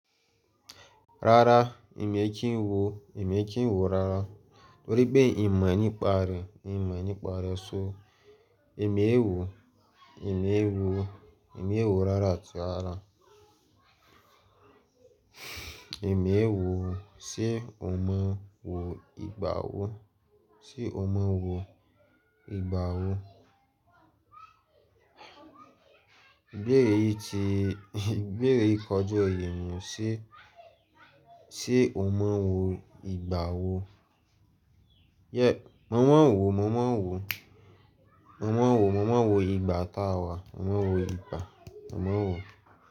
Rárá, èmi ẹ kì ń wò, èmi ẹ kì ń wò rárá. Torí pé n mo nípa re, n mo nípa re, so èmi ẹ ò wò, èmi ẹ ò wò, èmi ẹ ò wò rárá àti ara. Èmi ẹ ò wò, ṣé o mọ wò ìgbà wò? Ṣé o mọ wò ìgbà wò? Ìbéèrè yìí ti, ìbéèrè yìí kọja oye mi o, ṣé o mọ̀ wò ìgbà wò? Yẹ, mò mọ wò, mò mọ wò, mò mọ wò, mò mọ wò ìgbà táa wà, mò mọ wò ìgbà, mò mọ wò.